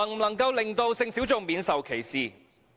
能否令性小眾免受歧視？